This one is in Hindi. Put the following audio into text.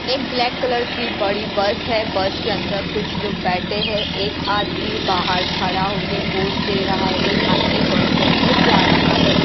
एक ब्लैक कलर की बड़ी बस है बस के अंदर कुछ लोग बैठे हैं एक आदमी बाहर खड़ा होके पोस्ट दे रहा है एक आदमी बस के अंदर जा रहा है।